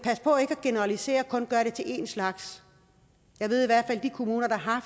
generalisere og kun gøre det til en slags jeg ved i hvert fald at de kommuner der har